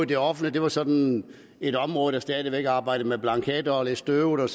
det offentlige er sådan et område der stadig væk arbejder med blanketter og er lidt støvet